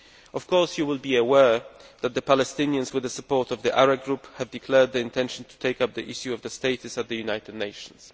Of course you will be aware that the Palestinians, with the support of the Arab Group, have declared their intention of taking up the issue of their status at the United Nations.